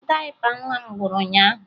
Dayịpa nwa m gwụrụ ụnyaahụ